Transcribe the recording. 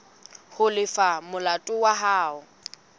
ho lefa molato wa hao